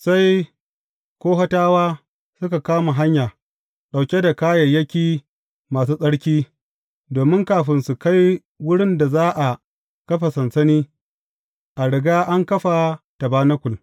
Sai Kohatawa suka kama hanya, ɗauke da kayayyaki masu tsarki, domin kafin su kai wurin da za a kafa sansani, a riga an kafa tabanakul.